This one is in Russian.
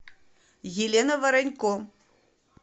елена воронько